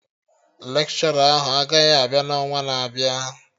Lekshọra ahụ agaghị abịa na ọnwa na-abịa